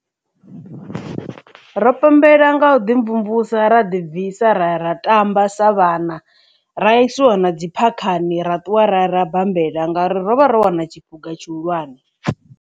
Ro pembela nga u ḓi mvumvusa ra ḓi bvisa ra ya ra tamba sa vhana ra isiwa na dzi phakhani ra ṱuwa ra ra bammbela ngauri ro vha ro wina tshiphuga tshihulwane.